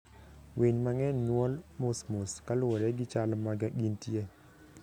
Winy mang'eny nyuol mos mos kaluwore gi chal ma gintie.